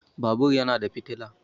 Babur yana da fitila